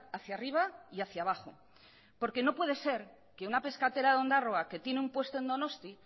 hacia arriba y hacia abajo porque no puede ser que una pescatera de ondarroa que tiene un puesto en donosti